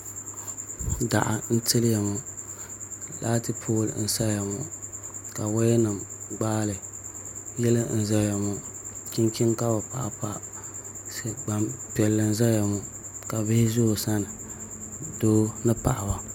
Daɣu n tiliya ŋɔ laatu pool nim n saya ŋɔ ka woya nim gbaali yili n ʒɛya ŋɔ chunchin ka bi paɣa pa Gbanpiɛli n ʒɛya ŋɔ ka bihi ʒɛ o sani doo ni paɣaba